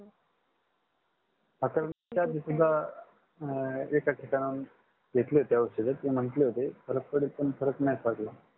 आता दोन एका ठिकाणा हून घेतले होते औषध ते म्हटले होते फरक पडेल पण फरक नाही पडला